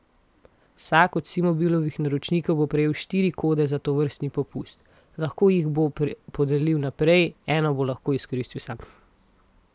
Vsak od Simobilovih naročnikov bo prejel štiri kode za tovrstni popust, lahko jih bo podelil naprej, eno bo lahko izkoristil sam.